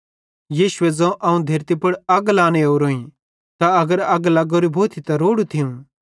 यीशुए ज़ोवं अवं धेरती पुड़ अग लांने ओरोईं ते अगर अग लग्गोरी भोथी त रोड़ू थियूं